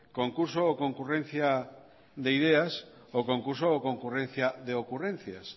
concurso o concurrencia de ideas o concurso o concurrencia de ocurrencias